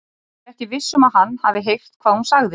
Hún er ekki viss um að hann hafi heyrt hvað hún sagði.